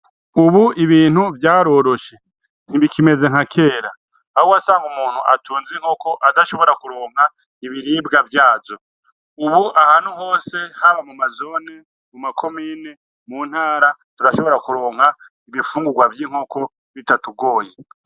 Ubu ibintu vyarorosho ntibikimeze nka kera aho wasanga umuntu atunze inkoko adashobora kuronka ibiribwa vyavyo ubu ahantu hose haba muma zone, muma komine, muntara turashobora kuronka ibifungugwa vy' inkoko bitatugoye.